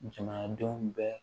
Jamanadenw bɛɛ